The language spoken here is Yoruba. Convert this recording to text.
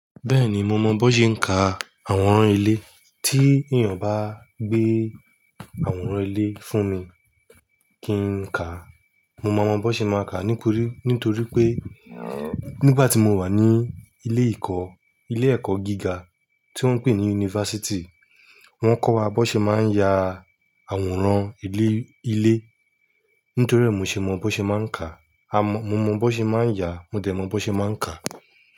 Bẹ́ẹ̀ni, mo mọ bó ṣe ń ka àwòrán ilé. Tí èèyàn bá gbé àwòrán ilé fún mi kí n ka, mo máa mọ bó ṣe máa kà á nítorí pé nígbà tí mo wà ní ilé ìkọ́, ilé ẹ̀kọ́ gíga tí wọ́n ń pè ní unifásítì, wọ́n kọ́ wa bó ṣe máa ń ya àwòrán ilé, ilé. Nítorí è mo ṣe mọ bó ṣe máa ń kà á, a mọ-- mo mọ bó ṣe máa ń yà á, mo dẹ̀ mọ bó ṣe máa ń kà á.